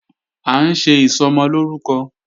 À ń ṣe Ìsọmọlórúkọ